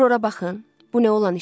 Bir ora baxın, bu nə olan işdir?